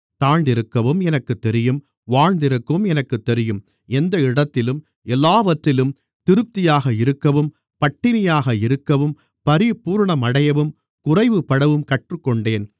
தாழ்ந்திருக்கவும் எனக்குத் தெரியும் வாழ்ந்திருக்கவும் எனக்குத் தெரியும் எந்த இடத்திலும் எல்லாவற்றிலும் திருப்தியாக இருக்கவும் பட்டினியாக இருக்கவும் பரிபூரணமடையவும் குறைவுபடவும் கற்றுக்கொண்டேன்